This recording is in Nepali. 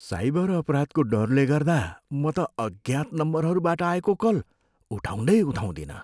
साइबर अपराधको डरले गर्दा म त अज्ञात नम्बरहरूबाट आएको कल उठाउँदै उठाउँदिनँ।